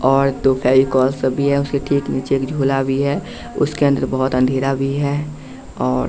और दो फेविकोल सब भी हैं उसके ठीक नीचे एक झोला भी हैं उसके अंदर बहोत अंधेरा भी है और--